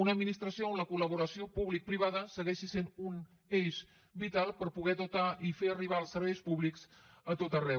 una administració en què la col·vada segueixi sent un eix vital per poder dotar i fer arribar els serveis públics a tot arreu